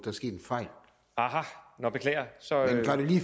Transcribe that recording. er sket en fejl aha beklager så